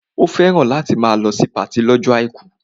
Ó fẹ́ràn láti máa lọ sí patí lọ́jọ́ àìkú